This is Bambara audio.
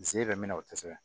Se bɛ min na o tɛ se ka